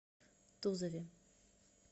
тузове